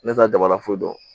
Ne t'a dabalafo dɔn